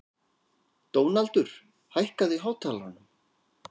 Dónaldur, hækkaðu í hátalaranum.